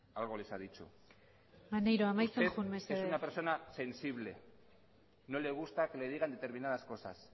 algo les ha dicho maneiro amaitzen joan mesedez usted es una persona sensible no le gusta que le digan determinadas cosas